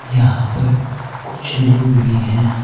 यहां पर कुछ लोग भी हैं।